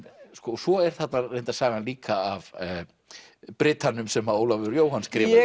svo er þarna reyndar sagan líka af brytanum sem Ólafur Jóhann skrifaði